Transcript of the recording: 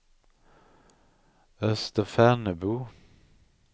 Österfärnebo